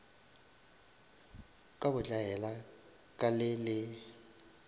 ka botlaela ka le le